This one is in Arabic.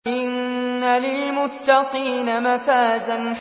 إِنَّ لِلْمُتَّقِينَ مَفَازًا